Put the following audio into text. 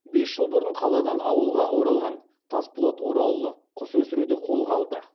бес жыл бұрын қаладан ауылға оралған тасболат оралұлы құс өсіруді қолға алды